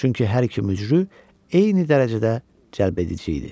Çünki hər iki mücrü eyni dərəcədə cəlbedici idi.